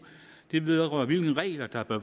det vedrører hvilke regler der bør